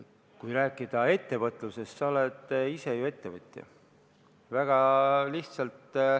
Kui rääkida ettevõtlusest, siis sa oled ise ju ettevõtja.